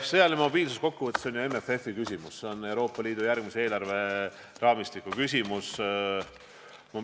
Sõjaline mobiilsus kokkuvõttes on ju MFF-i küsimus, see on Euroopa Liidu järgmise eelarveraamistiku küsimus.